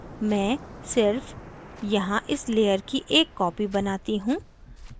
मैं सिर्फ यहाँ इस layer की एक copy बनाती हूँ